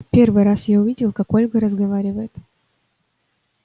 первый раз я увидел как ольга разговаривает